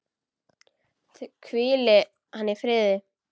Hvíli hann í friði!